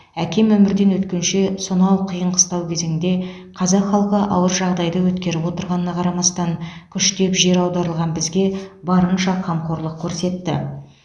әкем өмірден өткенше сонау қиын қыстау кезеңде қазақ халқы ауыр жағдайды өткеріп отырғанына қарамастан күштеп жер аударылған бізге барынша қамқорлық көрсетті